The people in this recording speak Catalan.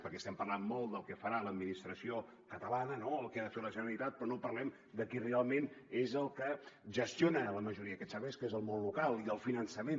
perquè estem parlant molt del que farà l’administració catalana no del que ha de fer la generalitat però no parlem de qui realment és el que gestiona la majoria d’aquests serveis que és el món local i el finançament